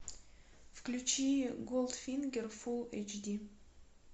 включи голдфингер фулл эйч ди